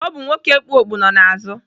Ọ bụ nwoke kpu okpu nọ n'azụ.